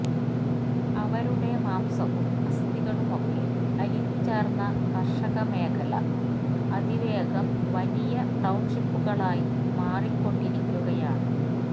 അവരുടെ മാംസവും അസ്ഥികളും ഒക്കെ അലിഞ്ഞു ചേര്ന്ന കര്ഷക മേഖല അതിവേഗം വലിയ ടൌണ്ഷിപ്പുകളായി മാറിക്കൊണ്ടിരിക്കുകയാണ്